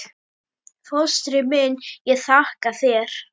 Fóstri minn, ég þakka þér.